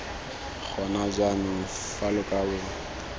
gona jaanong fa lo kabo